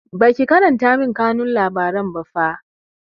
Baki karanta min kanun labaran ba fa